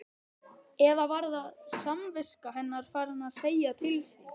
Eða var samviska hennar farin að segja til sín?